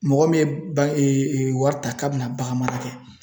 Mɔgɔ min wari ta k'a bɛna bagan mara kɛ.